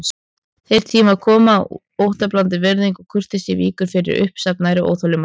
Þeir tímar koma að óttablandin virðing og kurteisi víkur fyrir uppsafnaðri óþolinmæði.